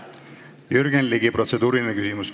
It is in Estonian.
Jürgen Ligi, protseduuriline küsimus.